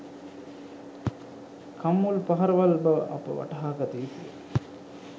කම්මුල් පහරවල් බව අප වටහාගත යුතුය